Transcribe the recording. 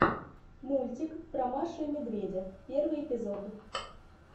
мультик про машу и медведя первый эпизод